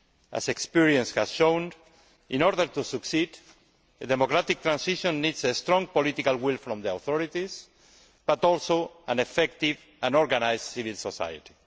As experience has shown, in order to succeed, a democratic transition needs strong political will from the authorities but also an effective and organised civil society.